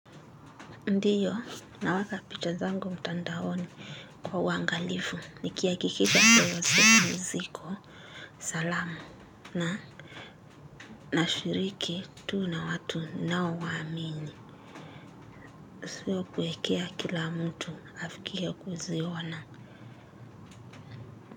Ndiyo, naweka picha zangumtandaoni kwa uwangalifu, nikihakikisha kwamba ziko salama nashiriki tu na watu nao waamini. Siyo kuwekea kila mtu, afikie kuziona.